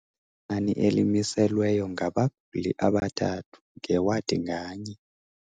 Inani elimiselweyo ngabaguli abathandathu ngewadi nganye.